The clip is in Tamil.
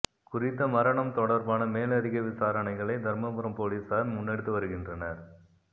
குறித்த மரணம் தொடர்பான மேலதிக விசாரணைகளை தர்மபுரம் பொலிசார் முன்னெடுத்து வருகின்றனர்